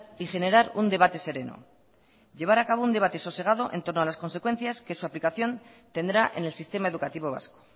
y generar un debate sereno llevar a cabo un debate sosegado entorno a las consecuencias que su aplicación tendrá en el sistema educativo vasco